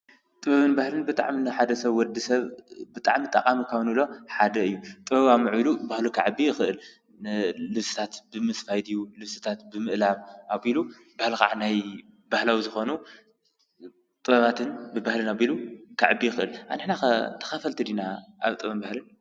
ጥበብን በህልን ብጣዕሚ ሓደ ሰብ ወዲ ሰብ ብጣዕሚ ጠቓሚ ካብ ንብሎም ሓደ እዩ፡፡ ጥበብ ኣማዕቢሉ ባህሉ ኽዕቢ ይኽእል፡፡ ልብስታት ብምስፋይ ድዩ ልብስታት ብምእላም ኣቢሉ ከዓ ናይ በህላዊ ዝኾኑ ጥበባትን ብበህልን ኣቢሉ ከዕቢ ይኽእል፡፡ ኣንሕና ኸ ተኸፈልቲ ዲና ኣብ ጥበብን ባህልን?